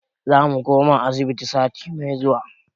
Za mu koma asibiti sati mai zuwa.